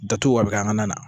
Datugu a bɛ kɛ an ka na na